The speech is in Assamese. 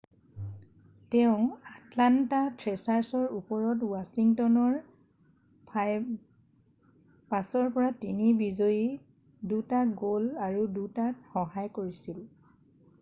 তেওঁ আটলান্ত থ্ৰেচাৰ্চৰ ওপৰত ৱাছিংটনৰ 5-3ৰ বিজয়ীত 2টা গ'ল আৰু 2টাত সহায় কৰিছিল।